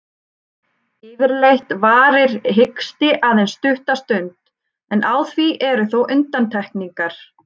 Yfirleitt varir hiksti aðeins stutta stund, en á því eru þó undantekningar.